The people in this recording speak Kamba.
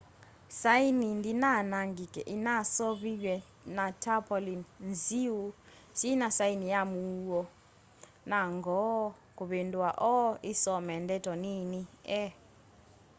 saini ndinaa anangika inaseuviw'e na tarpaulin nziu syina saini ya muuo na ngoo kuvindua o isome ndeto nini e